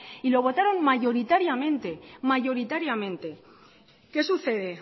y lo votaron mayoritariamente mayoritariamente qué sucede